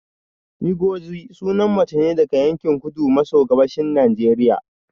Ngozi sunan mace ne daga yankin kudu maso gabashin Najeriya